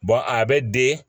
a bɛ den